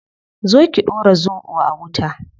Zo ki dora zobo a wuta